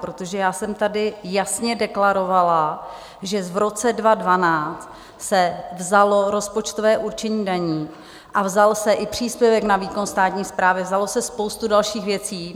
Protože já jsem tady jasně deklarovala, že v roce 2012 se vzalo rozpočtové určení daní a vzal se i příspěvek na výkon státní správy, vzalo se spoustu dalších věcí.